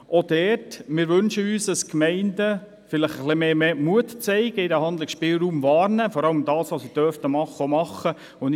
Aber wir wünschen uns auch, dass die Gemeinden etwas mehr Mut zeigen und ihren Handlungsspielraum wahrnehmen, indem sie das tun, was sie tun dürfen.